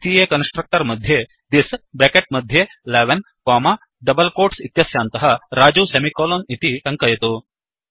द्वितीये कन्स्ट्रक्टर् मध्ये thisदिस्ब्रेकेट् मध्ये 11 कोमा डबल् कोट्स् इत्यस्यान्तः Rajuसेमिकोलन् इति टङ्कयतु